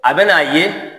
A bɛ n'a ye